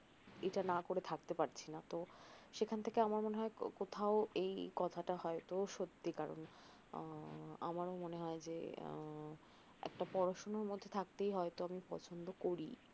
এটা না করে থাকতে পারছি না তো সেখান থেকে আমার মনে হয় কোথাও এই কথাটা হয়ত সত্যি কারন আমার মনে হয় যে একটা পড়াশোনার মধ্যে থাকতেই হয়ত আমি পছন্দ করি